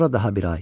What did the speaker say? Sonra daha bir ay.